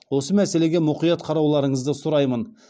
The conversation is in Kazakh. осы мәселеге мұқият қарауларыңызды сұраймын